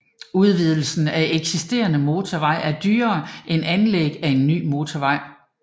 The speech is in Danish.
Udvidelse af eksisterende motorvej er dyrere end anlæg af ny motorvej